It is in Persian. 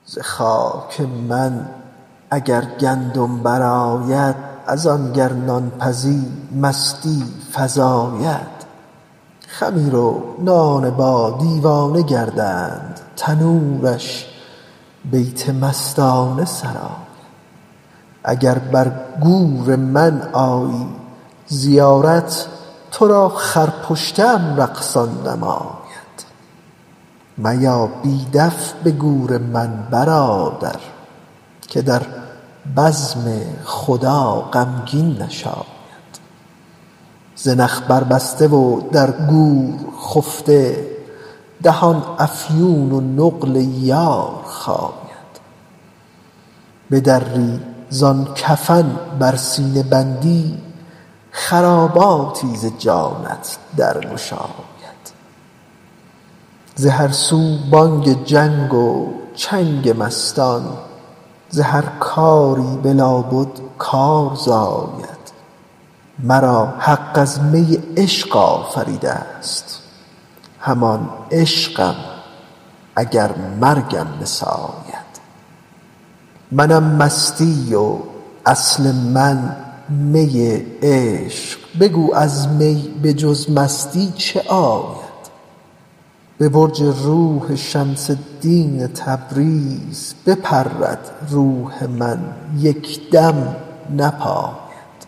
ز خاک من اگر گندم برآید از آن گر نان پزی مستی فزاید خمیر و نانبا دیوانه گردد تنورش بیت مستانه سراید اگر بر گور من آیی زیارت تو را خرپشته ام رقصان نماید میا بی دف به گور من برادر که در بزم خدا غمگین نشاید زنخ بربسته و در گور خفته دهان افیون و نقل یار خاید بدری زان کفن بر سینه بندی خراباتی ز جانت درگشاید ز هر سو بانگ جنگ و چنگ مستان ز هر کاری به لابد کار زاید مرا حق از می عشق آفریده ست همان عشقم اگر مرگم بساید منم مستی و اصل من می عشق بگو از می به جز مستی چه آید به برج روح شمس الدین تبریز بپرد روح من یک دم نپاید